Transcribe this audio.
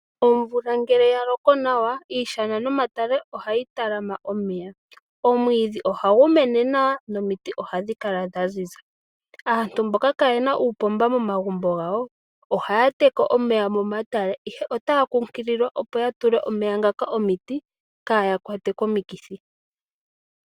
Omvula ngele yaloko nawa iishana nomatale ohayi talama omeya, omwiidhi ohagu mene nawa nomiti ohadhikala dhaziza, aantu mboka kaayena uupomba momagumbo gawo ohaya teke omeya momatale ihe otaya kunkililwa opo yatule omeya ngaka omiti kaaya kwatwe komikithi.